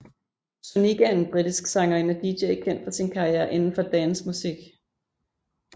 Sonique er en britisk sangerinde og DJ kendt for sin karriere indenfor dancemusik